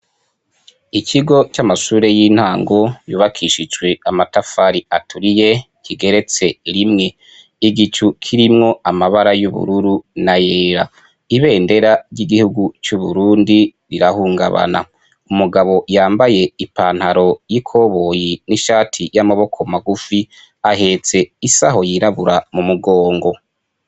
Ikigo c'amashure y'intango yubakishijwe amatafari aturiye, kigeretse rimwe, igicu kirimwo amabara y'ubururu n'ayera, ibendera ry'igihugu c'uburundi rirahungabana, umugabo yambaye ipantaro y,ikoboyi n'ishati y'amaboko magufi ahetse isaho yirabura mumugongo.